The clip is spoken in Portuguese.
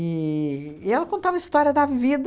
E e ela contava a história da vida,